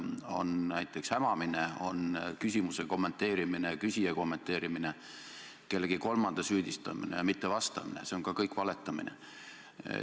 On näiteks hämamine, on küsimuse kommenteerimine, küsija kommenteerimine, kellegi kolmanda süüdistamine ja mitte vastamine – ka see kõik on valetamine.